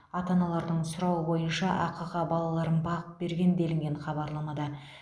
ата аналардың сұрауы бойынша ақыға балаларын бағып берген делінген хабарламада